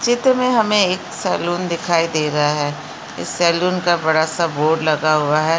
चित्र में हमें एक सैलून दिखाई दे रहा है इस सलून का बड़ा सा बोर्ड लगा हुआ है।